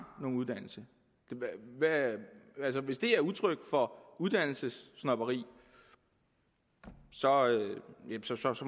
nogen uddannelse altså hvis det er udtryk for uddannelsessnobberi så